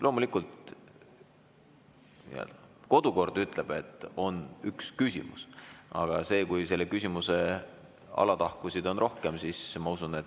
Loomulikult, kodukord ütleb, et on üks küsimus, aga küsimuse teemal võib olla tahkusid rohkem.